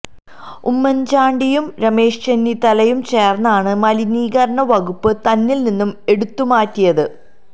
ഉമ്മന് ചാണ്ടിയും രമേശ് ചെന്നിത്തലയും ചേര്ന്നാണ് മലിനീകരണ വകുപ്പ് തന്നില് നിന്നും എടുത്തുമാറ്റിയത്